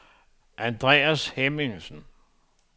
Andreas Hemmingsen